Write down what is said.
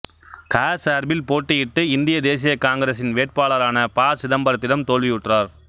க சார்பில் போட்டியிட்டு இந்திய தேசிய காங்கிரசின் வேட்பாளரான ப சிதம்பரத்திடம் தோல்வியுற்றார்